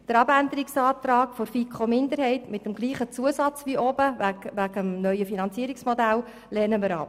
Den Abänderungsantrag der FiKo-Minderheit mit dem gleichen Zusatz wie oben, also mit dem Zusammenhang zum neuen Finanzierungsmodell, lehnen wir ab.